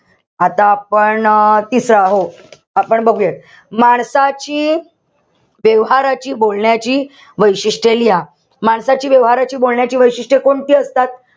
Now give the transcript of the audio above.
आता आपण अं तिसरा. हो. आपण बघुयात. माणसाची व्यवहाराची बोलण्याची वैशिष्ट्ये लिहा. माणसाची व्यवहाराची बोलण्याची वैशिष्ट्ये कोणती असतात?